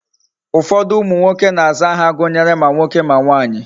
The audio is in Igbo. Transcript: Ufodu umu nwoke na aza aha gunyere ma nwoke ma nwanyi